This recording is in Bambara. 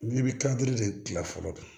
I bɛ kan duuru de kila fɔlɔ